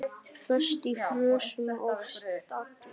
Föst í frösum og stagli.